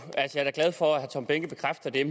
det er